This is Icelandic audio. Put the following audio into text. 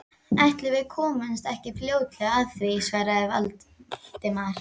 Ætli við komumst ekki fljótlega að því- svaraði Valdimar.